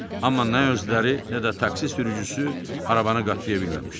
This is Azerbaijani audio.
Amma nə özləri, nə də taksi sürücüsü arabanı qatlaya bilməmişdi.